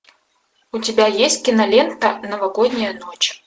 у тебя есть кинолента новогодняя ночь